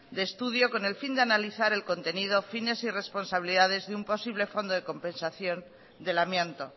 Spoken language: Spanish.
de estudio con el fin de analizar el contenido fines y responsabilidades de un posible fondo de compensación del amianto